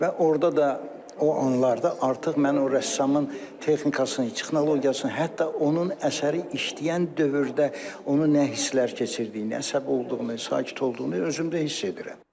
Və orda da o anlarda artıq mən o rəssamın texnikasını, texnologiyasını, hətta onun əsəri işləyən dövrdə onun nə hisslər keçirdiyini, nə xoşbəxt olduğunu, sakit olduğunu özümdə hiss edirəm.